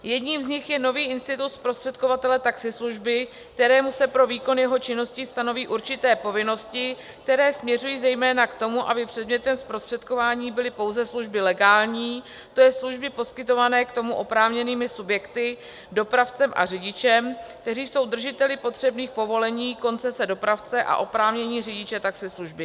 Jedním z nich je nový institut zprostředkovatele taxislužby, kterému se pro výkon jeho činnosti stanoví určité povinnosti, které směřují zejména k tomu, aby předmětem zprostředkování byly pouze služby legální, to je služby poskytované k tomu oprávněnými subjekty, dopravcem a řidičem, kteří jsou držiteli potřebných povolení koncese dopravce a oprávnění řidiče taxislužby.